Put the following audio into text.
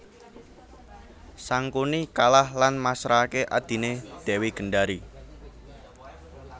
Sangkuni kalah lan masrahaké adhiné Dewi Gendari